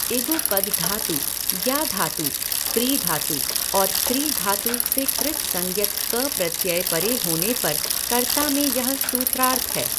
इगुपध धातु, ज्ञा धातु, प्री धातु, और कृ धातु, से कृत्संज्ञक क प्रत्यय परे होने पर कर्ता में यह सूत्रार्थ है।